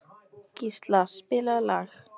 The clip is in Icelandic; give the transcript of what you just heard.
Gísla, spilaðu lag.